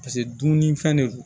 Paseke dumunifɛn de don